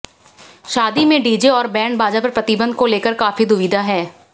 शादी में डीजे और बैंड बाजा पर प्रतिबंध को लेकर काफी दुविधा है